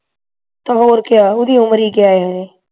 ਤੇ ਹੋਰ ਕਿਆ ਓਹ ਦੀ ਉਮਰ ਹੀ ਕਿਆ ਹਾਲੇ